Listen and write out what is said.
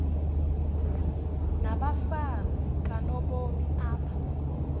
nabafazi kanobomi apha